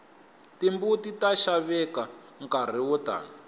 timbuti ta xaveka nkarhi wo tani